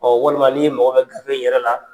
walima ni mako bɛ gafe yɛrɛ la.